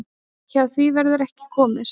Hjá því verður ekki komist.